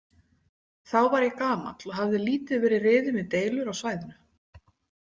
Þá var ég gamall og hafði lítið verið riðinn við deilur á svæðinu.